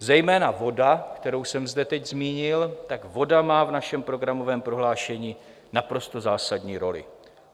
Zejména voda, kterou jsem zde teď zmínil, tak voda má v našem programovém prohlášení naprosto zásadní roli.